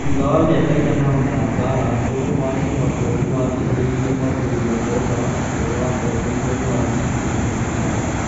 Thutha wa mĩaka ĩigana ona ya mbara, ũrũmwe wa kĩmabũrũri nĩwateithĩrĩirie kwambĩrĩrio kwa ũthamaki ũrĩa watongoririo ni waziri mũnene Serraj